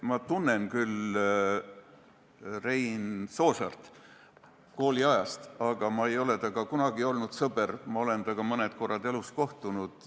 Ma tunnen küll Rein Soosaart kooliajast, aga ma ei ole kunagi olnud tema sõber, ma olen temaga mõne korra elus kohtunud.